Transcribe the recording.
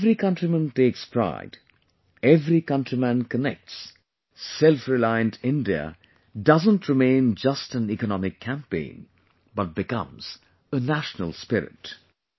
When every countryman takes pride, every countryman connects; selfreliant India doesn't remain just an economic campaign but becomes a national spirit